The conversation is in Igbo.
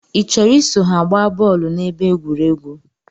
I chọrọ iso ha gbaa bọọlu na ebe egwuregwu?